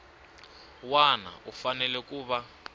wana u fanele ku va